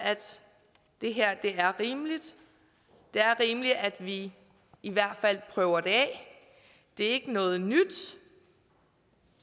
det her er rimeligt det er rimeligt at vi i hvert fald prøver det af det er ikke noget nyt